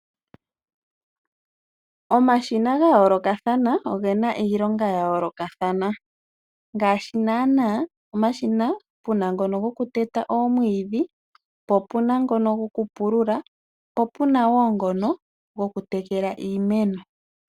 Omashina ga yoolokathana ogena iilonga ya yoolokathana . Ngaashi naana omashin puna ngono goku teta omwiidhi po, opuna ngono go ku pulula ,po puna woo ngono goku tekela iimeno